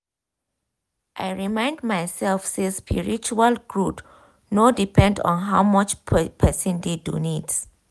i remind myself say spiritual growth no depend on how much person dey donate.